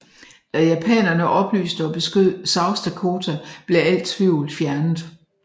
Da japanerne oplyste og beskød South Dakota blev al tvivl fjernet